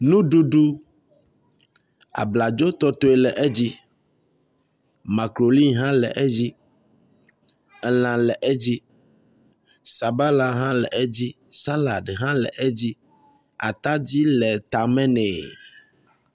Nuɖuɖu, abladzo tɔtɔe le edzi, makruni hã le edzi, elã le edzi, sabala hã le edzi atadi le tame nɛ